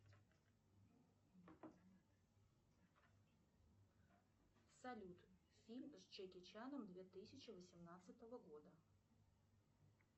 салют фильм с джеки чаном две тысячи восемнадцатого года